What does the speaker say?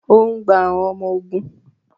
O n gbà àwọn ọmọ ogun